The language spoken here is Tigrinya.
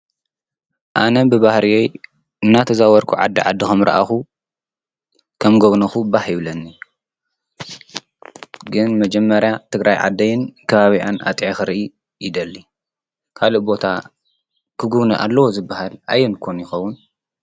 ኣነ ብባህርየይ እናተዛወርኩ ዓዲ ዓዲ ከምረኣኩ ከም ጎብኖኩ ባህ ይብለኒ። ግን መጀመርያ ትግራይ ዓደይን ከባቢኣን ኣጥዕየ ክርኢ ይደሊ። ካሊእ ቦታ ክግቡኒ ኣለዋ ዝባሃል ኣዮን ግን ይከውን?